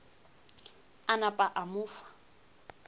a napa a mo fa